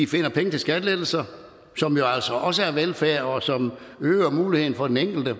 finder penge til skattelettelser som jo altså også er velfærd og som øger muligheden for den enkelte og